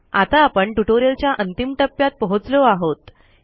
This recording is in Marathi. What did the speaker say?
आता आपण ट्युटोरियलच्या अंतिम टप्प्यात पोहोचलो आहोत